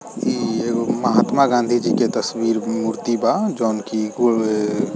इ एगो महात्मा गांधी जी के तस्वीर मूर्ति बा जौन की --